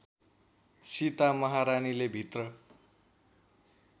सीता महारानीले भित्र